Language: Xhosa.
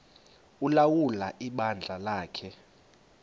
ulawula ibandla lakhe